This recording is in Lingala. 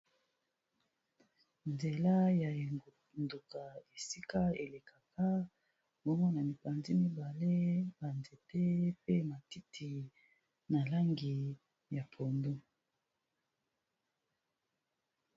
Nzela ya engunduka esika elekaka, bongo na mipanzi mibale ba nzete pe matiti na langi ya pondu.